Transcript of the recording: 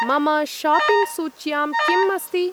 मम शापिङ्ग् सूच्यां किम् अस्ति?